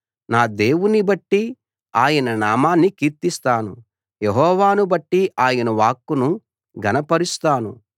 నా దేవుణ్ణి బట్టి ఆయన నామాన్ని కీర్తిస్తాను యెహోవాను బట్టి ఆయన వాక్కును ఘనపరుస్తాను